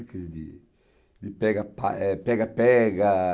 coisa de, de pega pá, pega-pega.